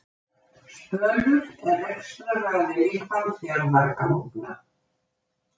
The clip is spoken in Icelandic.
Spölur er rekstraraðili Hvalfjarðarganga